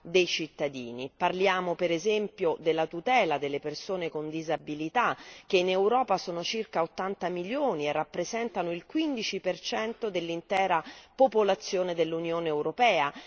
dei cittadini parliamo, per esempio, della tutela delle persone con disabilità, che in Europa sono circa 80 milioni e rappresentano il 15 per cento dell'intera popolazione dell'Unione europea